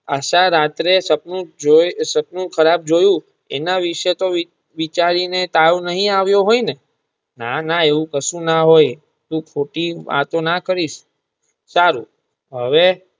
આશા રાત્રે સપનું ખરાબ જોયું એના વિશે તો વિચાર વિચારી ને તાવ નાઈ આવીયો હોય ને ના~ના એવું કાંસુ ના હોય તું ખોટી વાતો ના કરીશ સારું હવે.